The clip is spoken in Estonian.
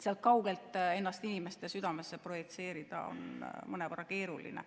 Sealt kaugelt ennast inimeste südamesse projitseerida on mõnevõrra keeruline.